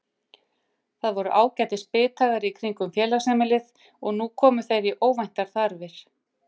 Það voru ágætis bithagar í kringum félagsheimilið og nú komu þeir í óvæntar þarfir.